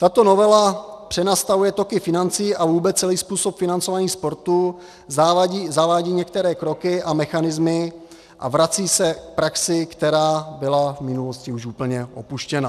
Tato novela přenastavuje toky financí a vůbec celý způsob financování sportu, zavádí některé kroky a mechanismy a vrací se k praxi, která byla v minulosti už úplně opuštěna.